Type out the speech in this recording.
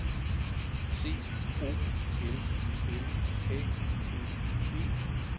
C O L L A G E